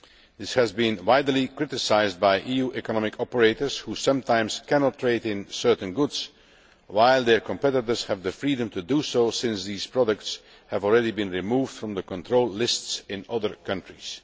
This has been widely criticised by EU economic operators, who sometimes cannot trade in certain goods while their competitors have the freedom to do so, since these products have already been removed from the control lists in other countries.